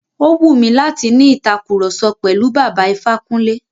Ó wù mí láti ni ìtàkurọ̀sọ pẹ̀lú Bàbá Ifákúnlé.